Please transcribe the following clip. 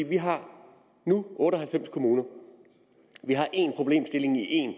vi har nu otte og halvfems kommuner vi har en problemstilling i én